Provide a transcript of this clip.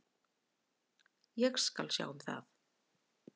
Ég skal sjá um það.